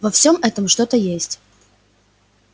во всём этом что-то есть